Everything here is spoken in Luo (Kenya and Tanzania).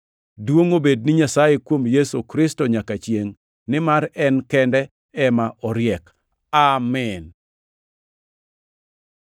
Duongʼ obed ni Nyasaye kuom Yesu Kristo nyaka chiengʼ nimar en kende ema oriek! Amin.